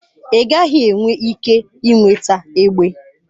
Ị gaghị enwe ike ị nweta egbe.